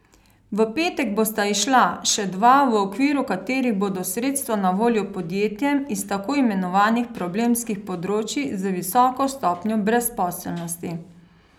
V petek bosta izšla še dva, v okviru katerih bodo sredstva na voljo podjetjem iz tako imenovanih problemskih področij z visoko stopnjo brezposelnosti.